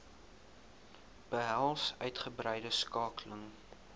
behels uitgebreide skakeling